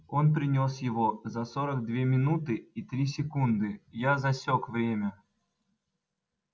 он принёс его за сорок две минуты и три секунды я засек время